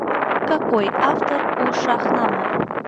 какой автор у шахнаме